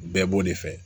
Bɛɛ b'o de fɛ